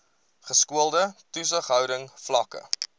geskoolde toesighouding vlakke